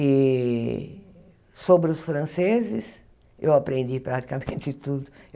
E sobre os franceses, eu aprendi praticamente tudo.